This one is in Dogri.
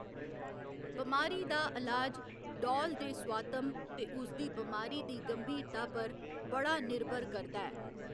बमारी दा इलाज डौल दे सुआतम ते उसदी बमारी दी गंभीरता पर बड़ा निर्भर करदा ऐ।